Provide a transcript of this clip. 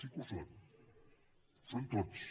sí que ho són ho són tots